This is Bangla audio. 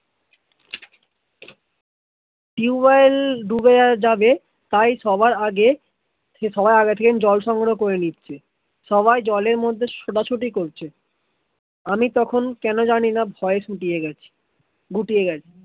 টিউবএল ডুবে যাবে তাই সবার আগে থেকে জল সংগহ করে নিচ্ছে সবাই জলের মধ্যে ছোটা ছুটি করছে, আমি তখন কেন জানি না সুখিয়া গেছি শুটিয়ে গেছি